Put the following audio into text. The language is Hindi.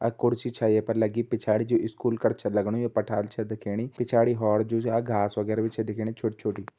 अर कुर्सी छा ये पर लगीं पिछाड़ी जू स्कूल कर छ लग्णुं ये पठार छ दिखेणी पिछाड़ी और जू छ घास वगैरह भी दिखेणी छोटी-छोटी ।